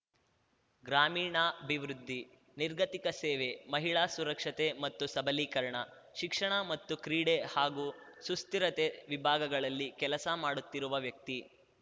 ಗ್ರಾಮೀಣಾಭಿವೃದ್ಧಿ ನಿರ್ಗತಿಕ ಸೇವೆ ಮಹಿಳಾ ಸುರಕ್ಷತೆ ಮತ್ತು ಸಬಲೀಕರಣ ಶಿಕ್ಷಣ ಮತ್ತು ಕ್ರೀಡೆ ಹಾಗೂ ಸುಸ್ಥಿರತೆ ವಿಭಾಗಗಳಲ್ಲಿ ಕೆಲಸ ಮಾಡುತ್ತಿರುವ ವ್ಯಕ್ತಿ